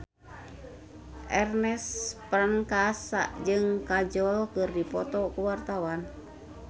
Ernest Prakasa jeung Kajol keur dipoto ku wartawan